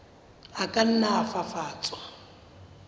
a ka nna a fafatswa